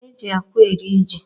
E ji akwa eri ji